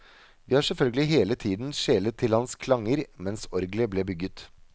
Vi har selvfølgelig hele tiden skjelet til hans klanger mens orgelet ble bygget.